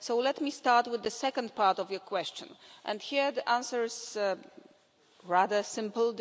So let me start with the second part of your question, and here the answer is rather simple.